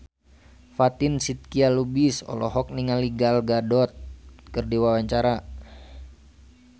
Fatin Shidqia Lubis olohok ningali Gal Gadot keur diwawancara